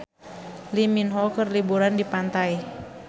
Lee Min Ho keur liburan di pantai